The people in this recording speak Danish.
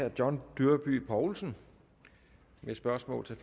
herre john dyrby paulsen med spørgsmål til